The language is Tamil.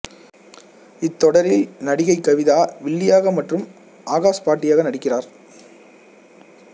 இத்தொடரில் நடிகை கவிதா வில்லியாக மற்றும் ஆகாஷ் பாட்டியாக நடிக்கிறார்